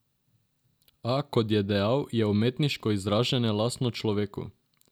A, kot je dejal, je umetniško izražanje lastno človeku.